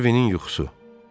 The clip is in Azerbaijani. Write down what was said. Harvinin yuxusu.